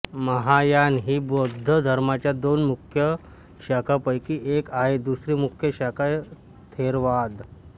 महायान ही बौद्ध धर्माच्या दोन मुख्य शाखांपैकी एक आहे दुसरी मुख्य शाखा थेरवाद